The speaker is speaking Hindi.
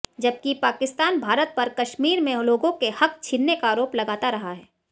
जबकि पाकिस्तान भारत पर कश्मीर में लोगों के हक छीनने का आरोप लगाता रहा है